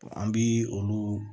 an bi olu